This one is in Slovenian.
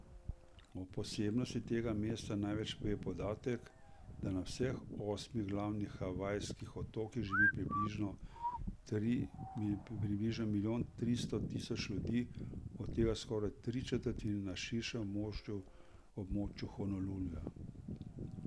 O posebnosti tega mesta največ pove podatek, da na vseh osmih glavnih havajskih otokih živi približno milijon tristo tisoč ljudi, od tega skoraj tri četrtine na širšem območju Honoluluja.